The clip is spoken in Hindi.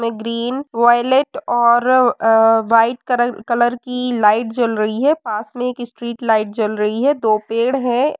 ग्रीन वोइलेट और अ व्हाइट कलर कलर की लाइट जल रही है पास में एक स्ट्रीट लाइट जल रही है। दो पेड़ हैं।